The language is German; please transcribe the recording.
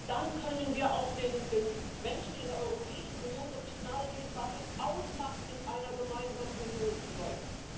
Nur dann können wir auch den Menschen in der Europäischen Union das Signal geben, was es ausmacht, in einer gemeinsamen Union zu sein.